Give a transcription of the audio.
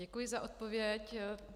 Děkuji za odpověď.